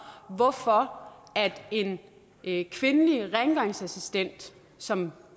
hvorfor en kvindelig rengøringsassistent som